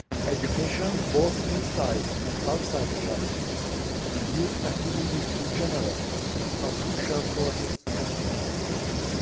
Education, both inside and outside the classroom, and youth activities in general, are crucial for this comprehensive approach.